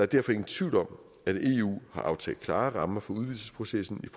derfor ingen tvivl om at eu har aftalt klare rammer for udvidelsesprocessen i